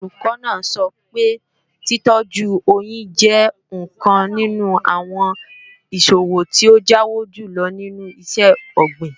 Olùkọ́ náà sọ pé títọ́jú oyín jẹ́ ọ̀kan nínú àwọn ìṣòwò tí ó jáwó jùlọ nínú iṣẹ́-ọ̀gbìn